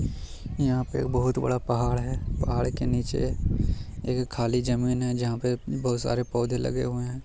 यहाँ पे एक बहुत बड़ा पहाड़ है पहाड़ के नीचे एक खाली जमीन है जहाँ पे बहुत सारे पौधे लगे हुए हैं।